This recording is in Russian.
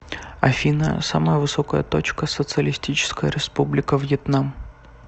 афина самая высокая точка социалистическая республика вьетнам